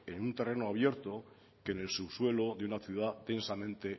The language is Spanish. en un terreno abierto que en el subsuelo de una ciudad densamente